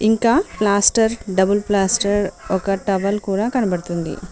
ఇంకా plaster double plaster ఒక towel కూడా కనబడుతుంది.